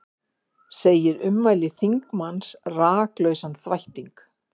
Segir ummæli þingmanns rakalausan þvætting